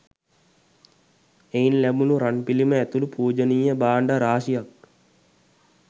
එයින් ලැබුණ රන්පිළිම ඇතුළු පූජනීය භාණ්ඩ රාශියක්